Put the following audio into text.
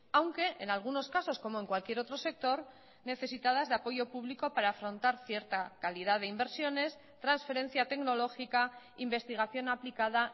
aunque en algunos casos como en cualquier otro sector necesitadas de apoyo público para afrontar cierta calidad de inversiones transferencia tecnológica investigación aplicada